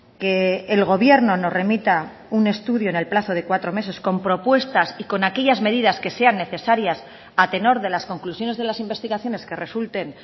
que el gobierno nos remita un estudio en el plazo de cuatro meses con propuestas y con aquellas medidas que sean necesarias a tenor de las conclusiones de las investigaciones que resulten